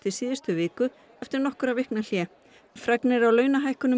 síðustu viku eftir nokkurra vikna hlé fregnir af launahækkunum